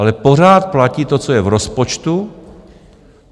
Ale pořád platí to, co je v rozpočtu.